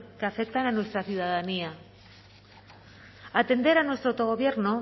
que afectan a nuestra ciudadanía atender a nuestro autogobierno